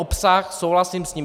Obsah, souhlasím s ním.